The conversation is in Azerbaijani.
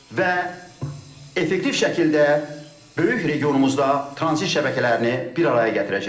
Və effektiv şəkildə böyük regionumuzda tranzit şəbəkələrini bir araya gətirəcək.